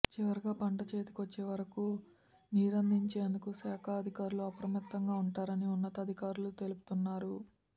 చివరిగా పంట చేతికొచ్చే వరకు నీరందించేందుకు శాఖాధికారులు అప్రమత్తంగా ఉంటారని ఉన్నతాధికారులు తెలుపుతున్నారు